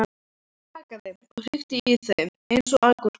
Það brakaði og hrikti í þeim eins og agúrkum.